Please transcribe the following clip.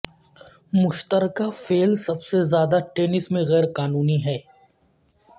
مشترکہ فعل سب سے زیادہ ٹینس میں غیر قانونی ہے